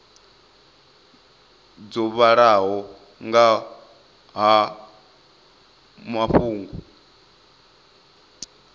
dzo vhalaho nga ha mafhungo